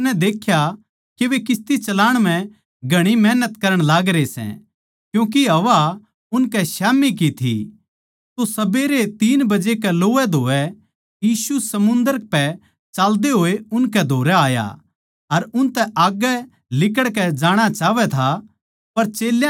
जिब उसनै देख्या के उननै किस्ती चलाणा म्ह घणी मेहनत करण लागरे सै क्यूँके हवा उनके स्याम्ही की थी तो सबेरै तीन बजे कै लोवैधोवै यीशु समुन्दर पै चाल्दे होए उनकै धोरै आया अर उनतै आग्गै लिकड़ जाणा चाहवै था